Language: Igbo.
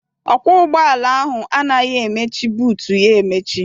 Ọkwọ ụgbọala ahụ anaghị emechi buutu ya emechi.